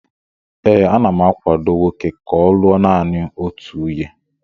ee, ana m akwado nwoke ka ọ lụọ naanị otu nwunye